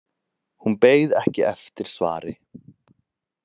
Hún beið ekki eftir svari.